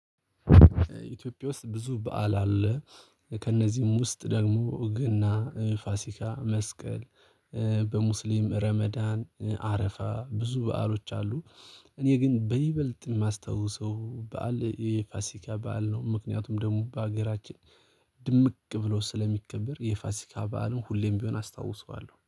ኢትዮጵያ ውስጥ ብዙ በዓል አለ። ከእነዚህም ውስጥ ደግሞ ገና ፋሲካ መስቀል በሙስሊም ረመዳን አረፋ ብዙ በዓሎች አሉ። እኔ ግን በይበልጥ የማስታውሰው በዓል የፋሲካ በዓል ነው። ምክንያቱም ደግሞ በሀገራችን ድምቅ ብሎ ስለሚከብር የፋሲካ በዓልን ሁሌም ቢሆን አስታውሰዋለሁ